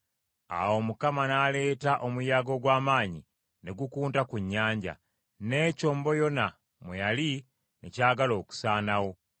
Awo Mukama n’aleeta omuyaga ogw’amaanyi ne gukunta ku nnyanja, n’ekyombo Yona mwe yali ne kyagala okusaanawo.